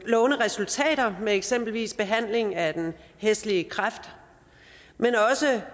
lovende resultater af eksempelvis behandling af den hæslige kræft men også